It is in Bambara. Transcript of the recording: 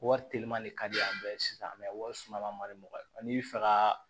Wari teliman ne ka di an bɛɛ ye sisan wari suma madi mɔgɔ n'i bɛ fɛ ka